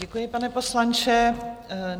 Děkuji, pane poslanče.